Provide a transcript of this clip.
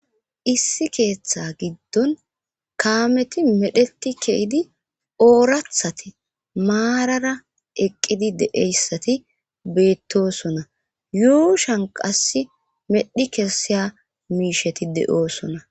Issi keeththa giddon kaameti medheti keidi oorathati maarara eqqidi deeyssati beettosona yuushan qass medhi kesiya miisheti de'oosona.